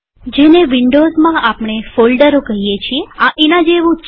જેને વિન્ડોવ્ઝમાં આપણે ફોલ્ડરો કહીએ છીએ આ એના જેવું છે